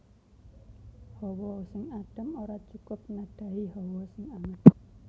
Hawa sing adem ora cukup nadhahi hawa sing anget